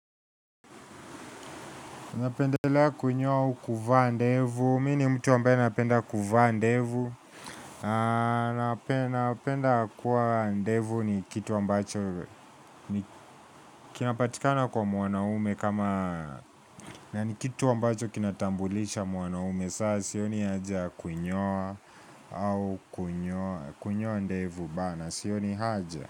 Napendelea kunyoa au kuvaa ndevu, mi nimtu ambaye napenda kuvaa ndevu, napenda kuwa ndevu ni kitu ambacho, kinapatikana kwa muwanaume kama, na ni kitu ambacho kinatambulisha muwanaume, saa sioni haja ya kunyoa au kunyoa, kunyoa ndevu bana, sioni haja.